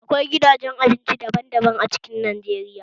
Akwai gidajen abinci daban daban a cikin Najeriya